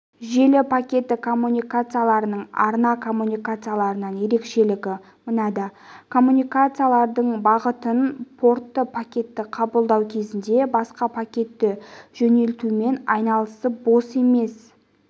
желі пакеті коммутаторларының арна коммутаторларынан ерекшелігі мынада коммутатордың шығатын порты пакетті қабылдау кезінде басқа пакетті жөнелтумен айналысып бос емес